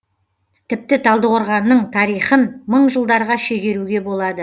тіпті талдықорғанның тарихын мың жылдарға шегеруге болады